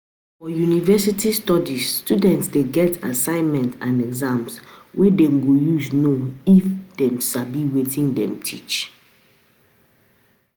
For university studies student de get assignment and exams wey dem go use know if e sabi wetin dem teach